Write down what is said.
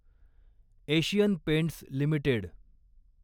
Asian Paints limited